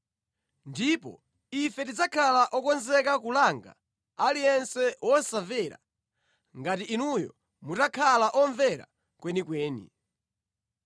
Ndipo ife tidzakhala okonzeka kulanga aliyense wosamvera ngati inuyo mutakhala omvera kwenikweni.